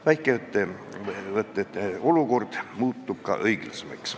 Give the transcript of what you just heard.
Väikeettevõtete olukord aga muutub õiglasemaks.